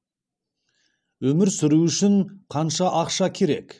өмір сүру үшін қанша ақша керек